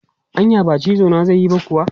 Anya ba cizo na zai yi ba kuwa?